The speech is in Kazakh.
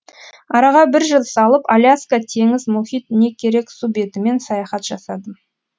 араға бір жыл салып аляска теңіз мұхит не керек су бетімен саяхат жасадым